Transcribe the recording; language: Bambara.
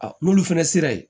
n'olu fana sera yen